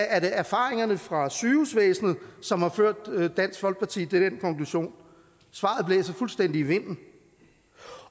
erfaringerne fra sygehusvæsenet som har ført dansk folkeparti til den konklusion svaret blæser fuldstændig i vinden